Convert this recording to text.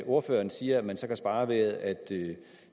ordføreren siger man kan spare ved at